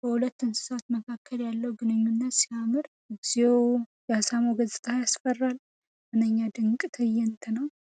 በሁለቱ እንስሳት መካከል ያለው ግንኙነት ሲያምር! እግዚኦ! የአሳማው ገጽታ ሲያስፈራ! ምንኛ ድንቅ ትዕይንት ነው!